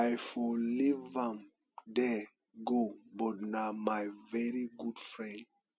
i for leave am there go but na my very good friend